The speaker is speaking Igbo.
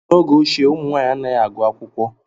N'oge ochie, ụmụ nwaanyị anaghị agụ akwụkwọ.